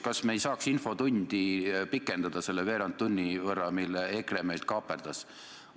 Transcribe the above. Kas me ei saaks infotundi pikendada selle veerandtunni võrra, mille EKRE meilt kaaperdas?